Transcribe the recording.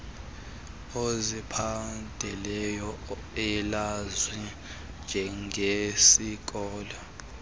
ozithandelayo elaziwa njengesikolo